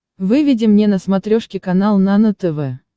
выведи мне на смотрешке канал нано тв